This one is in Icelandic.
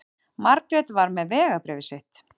Margrét var með vegabréfið sitt.